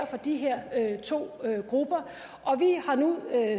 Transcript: for de her to grupper og vi har nu